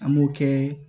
An b'o kɛ